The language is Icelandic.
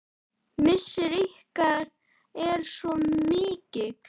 Missir ykkar er svo mikill.